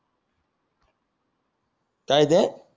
काय ते